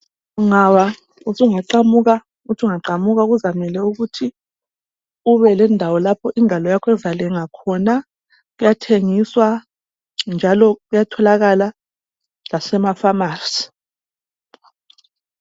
Ungawabona usungaqamuka uthi ungaqamuka kuzamele ukuthi ube lendawo lapho ingalo yakho ezalenga khona kuyathengiswa njalo kuyatholakala lasemafamasi.